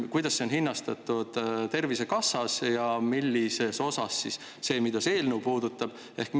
Kuidas seda Tervisekassas on hinnastatud?